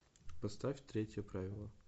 поставь третье правило